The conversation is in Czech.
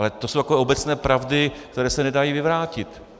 Ale to jsou takové obecné pravdy, které se nedají vyvrátit.